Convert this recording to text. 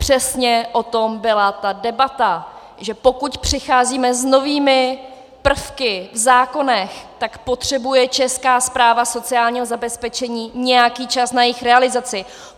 Přesně o tom byla ta debata, že pokud přicházíme s novými prvky v zákonech, tak potřebuje Česká správa sociálního zabezpečení nějaký čas na jejich realizaci.